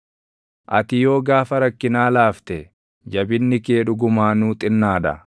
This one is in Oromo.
Ati yoo gaafa rakkinaa laafte, jabinni kee dhugumaanuu xinnaa dha!